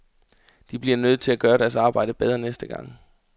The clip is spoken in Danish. De bliver nødt til at gøre deres arbejde bedre næste gang.